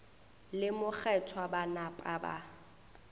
le mokgethwa ba napa ba